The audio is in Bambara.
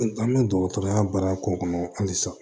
An bɛ dɔgɔtɔrɔya baara k'o kɔnɔ halisa